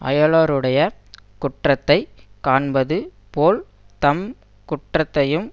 அயலாருடைய குற்றத்தை காண்பது போல் தம் குற்றத்தையும்